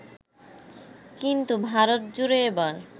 কিন্তু ভারতজুড়ে এবার